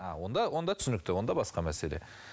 а онда онда түсінікті онда басқа мәселе